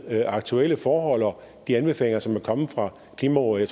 aktuelle forhold og de anbefalinger som er kommet fra klimarådet